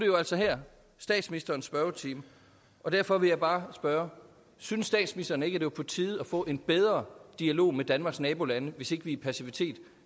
jo altså statsministerens spørgetime og derfor vil jeg bare spørge synes statsministeren ikke det var på tide at få en bedre dialog med danmarks nabolande hvis ikke vi i passivitet